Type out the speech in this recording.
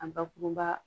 A bakurunba